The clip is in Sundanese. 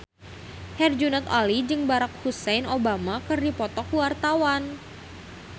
Herjunot Ali jeung Barack Hussein Obama keur dipoto ku wartawan